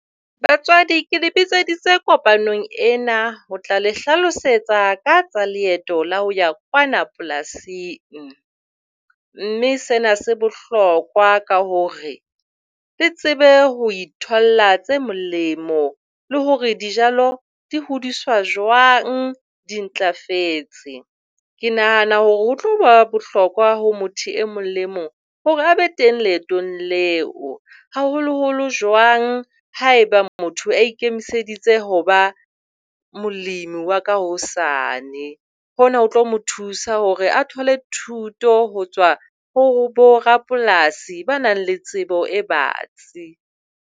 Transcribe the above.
Batswadi, ke le bitseditse kopanong ena ho tla le hlalosetsa ka leeto la ho ya kwana polasing, mme sena se bohlokwa ka hore le tsebe ho itholla tse molemo le hore dijalo di hodiswa jwang di ntlafetse. Ke nahana hore ho tlo ba bohlokwa ho motho e mong le e mong hore a be teng leetong leo, haholoholo jwang haeba motho a ikemiseditse ho ba molemi wa ka hosane. Hona ho tlo mo thusa hore a thole thuto ho tswa ho borapolasi ba nang le tsebo e batsi.